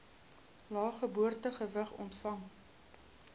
lae geboortegewig ontvang